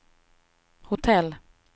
hotell